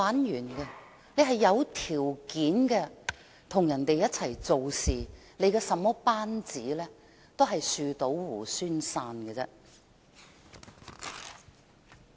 如果他是有條件與別人一起做事，即使管治班子如何，最終亦只會"樹倒猢猻散"。